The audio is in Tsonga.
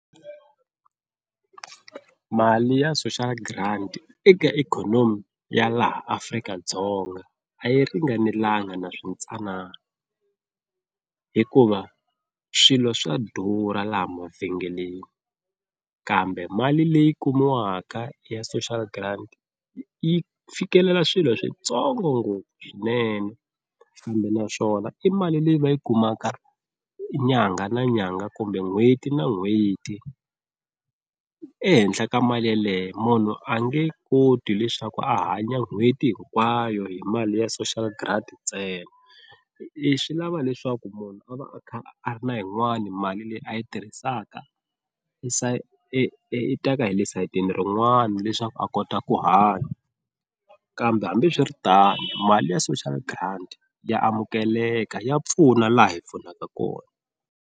Mali ya Social Grant eka ikhonomi ya laha Afrika-Dzonga a yi ringanelanga na switsanana hikuva swilo swa durha laha mavhengeleni kambe mali leyi kumiwaka ya Social Grant yi fikelela swilo switsongo ngopfu swinene, kambe naswona i mali leyi va yi kumaka nyangha na nyangha kumbe n'hweti na n'hweti, ehenhla ka mali yeleyo munhu a nge koti leswaku a hanya n'hweti hinkwayo hi mali ya Social Grant ntsena, i swi lava leswaku munhu a va a kha a ri na yin'wani mali leyi a yi tirhisaka i i i teka hi le sayitini rin'wana leswaku a kota ku hanya kambe hambiswiritano mali ya Social Grant ya amukeleka ya pfuna laha hi pfunaka kona.